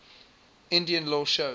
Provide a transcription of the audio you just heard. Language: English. indian law shows